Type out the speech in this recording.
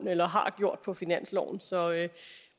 på finansloven så